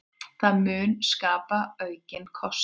Það mun skapa aukinn kostnað.